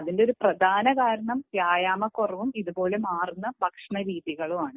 അതിന്റെ ഒരു പ്രധാന കാരണം വ്യായാമക്കുറവും ഇതുപോലെ മാറുന്ന ഭക്ഷണ രീതികളുമാണ്